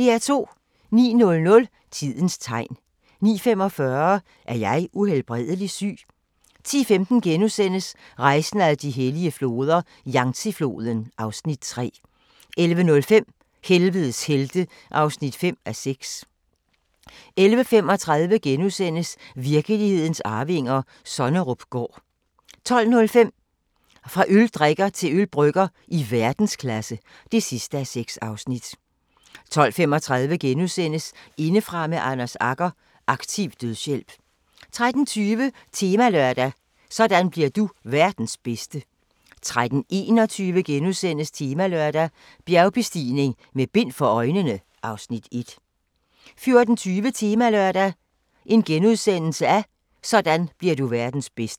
09:00: Tidens tegn 09:45: Er jeg uhelbredelig syg? 10:15: Rejsen ad de hellige floder - Yangtze-floden (Afs. 3)* 11:05: Helvedes helte (5:6) 11:35: Virkelighedens arvinger: Sonnerupgaard * 12:05: Fra øldrikker til ølbrygger i verdensklasse (6:6) 12:35: Indefra med Anders Agger – Aktiv dødshjælp * 13:20: Temalørdag: Sådan bliver du verdens bedste 13:21: Temalørdag: Bjergbestigning med bind for øjnene (Afs. 1)* 14:20: Temalørdag: Sådan bliver du verdens bedste *